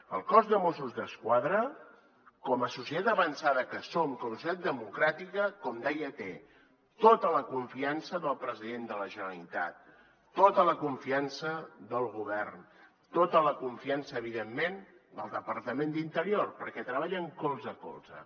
el cos de mossos d’esquadra com a societat avançada que som com a societat democràtica com deia té tota la confiança del president de la generalitat tota la confiança del govern tota la confiança evidentment del departament d’interior perquè treballen colze a colze